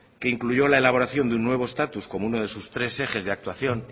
que incluyó la elaboración de un nuevo estatus como uno de sus tres ejes de actuación